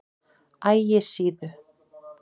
Ægisíðu